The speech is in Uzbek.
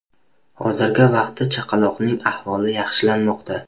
Hozirgi vaqtda chaqaloqning ahvoli yaxshilanmoqda.